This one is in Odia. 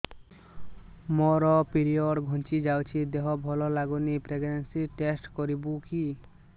ମୋ ପିରିଅଡ଼ ଘୁଞ୍ଚି ଯାଇଛି ଦେହ ଭଲ ଲାଗୁନି ପ୍ରେଗ୍ନନ୍ସି ଟେଷ୍ଟ କରିବୁ କି